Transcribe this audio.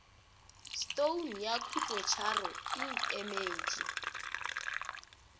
stone ya khutlotharo e emetše